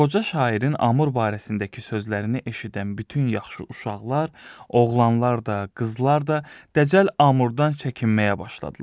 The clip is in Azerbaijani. Qoca şairin Amur barəsindəki sözlərini eşidən bütün yaxşı uşaqlar, oğlanlar da, qızlar da dəcəl Amurdan çəkinməyə başladılar.